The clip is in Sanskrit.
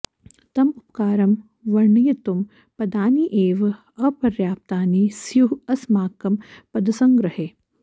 तम् उपकारं वर्णयितुं पदानि एव अपर्याप्तानि स्युः अस्माकं पदसङ्ग्रहे